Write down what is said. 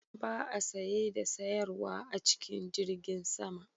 Ba a saye da sayarwa a cikin jirgin sama